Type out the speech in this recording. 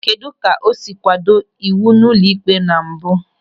Kedụ ka o siri kwado ịwụ ụlọikpe na mbụ?